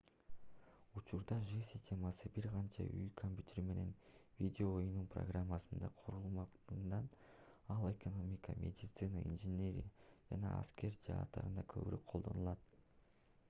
учурда жи системасы бир канча үй компьютери менен видео оюнунун программасында курулгандыктан ал экономика медицина инженерия жана аскер жааттарында көбүрөөк колдонулат